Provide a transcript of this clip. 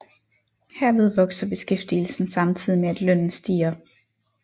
Herved vokser beskæftigelsen samtidig med at lønnen stiger